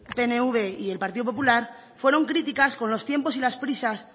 pnv y el partido popular fueron críticas con los tiempos y las prisas